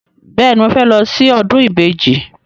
Bẹ́ẹ̀ni, mo fẹ́ lọ sí ọdún ìbejì.